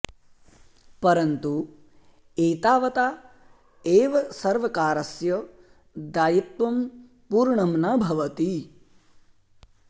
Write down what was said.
परन्तु एतावता एव सर्वकारस्य दायित्वं पूर्णं न भवति